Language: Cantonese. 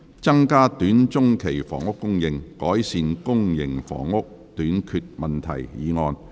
"增加短中期房屋供應，改善公營房屋短缺問題"議案。